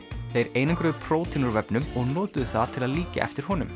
þeir einangruðu prótín úr vefnum og notuðu það til að líkja eftir honum